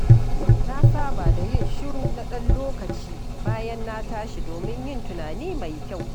Na saba da yin shiru na ɗan lokaci bayan na tashi domin yin tunani mai kyau.